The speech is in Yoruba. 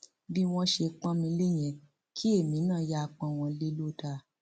bí wọn ṣe pọn mi lé yẹn kí èmi náà yáa pọn wọn lè lọ dáa